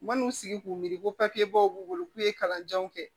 U ma n'u sigi k'u miiri ko papiyebaw b'u bolo k'u ye kalandenw kɛ